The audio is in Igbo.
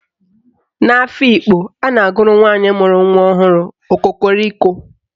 N'Afikpo, a na-agụrụ nwaanyị mụrụ nwa ọhụrụ "Okokoriko"